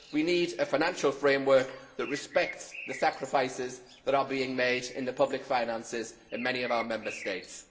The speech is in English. We need a financial framework that respects the sacrifices that are being made in the public finances in many of our Member States.